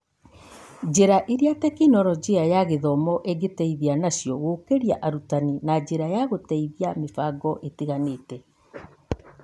Njĩra iria Tekinoronjĩ ya Gĩthomo ĩngĩteithia nacio gũkũria arutani na njĩra cia gũteithĩrĩria mĩbango ĩtiganĩte.